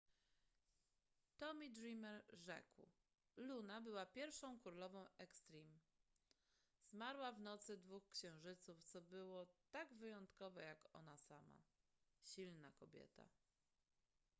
tomy dreamer rzekł luna była pierwszą królową extreme zmarła w nocy dwóch księżyców co było tak wyjątkowe jak ona sama silna kobieta